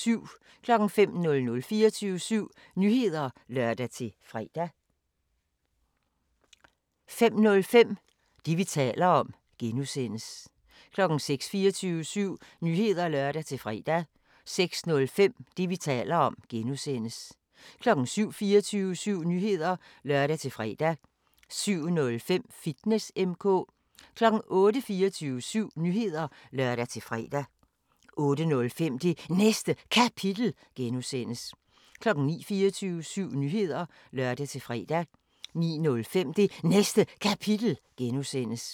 05:00: 24syv Nyheder (lør-fre) 05:05: Det, vi taler om (G) 06:00: 24syv Nyheder (lør-fre) 06:05: Det, vi taler om (G) 07:00: 24syv Nyheder (lør-fre) 07:05: Fitness M/K 08:00: 24syv Nyheder (lør-fre) 08:05: Det Næste Kapitel (G) 09:00: 24syv Nyheder (lør-fre) 09:05: Det Næste Kapitel (G)